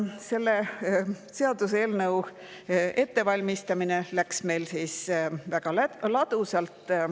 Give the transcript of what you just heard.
Selle seaduseelnõu ettevalmistamine läks meil väga ladusalt.